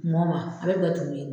Mɔba a bɛ datugu ye.